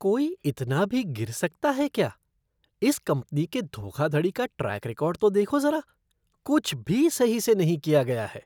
कोई इतना भी गिर सकता है क्या? इस कंपनी के धोखाधड़ी का ट्रैक रिकॉर्ड तो देखो ज़रा कुछ भी सही से नहीं किया गया है।